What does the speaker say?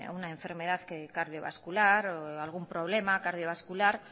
una enfermedad cardiovascular o algún problema cardiovascular